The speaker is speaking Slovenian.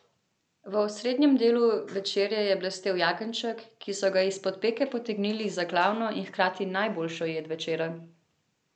V osrednjem delu večerje je blestel jagenjček, ki so ga izpod peke potegnili za glavno in hkrati najboljšo jed večera.